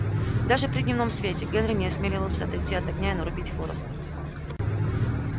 даже при дневном свете генри не осмеливался отойти от огня и нарубить хвороста